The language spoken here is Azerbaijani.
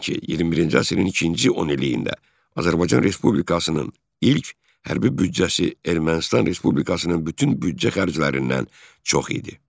Belə ki, 21-ci əsrin ikinci 10 illiyində Azərbaycan Respublikasının ilk hərbi büdcəsi Ermənistan Respublikasının bütün büdcə xərclərindən çox idi.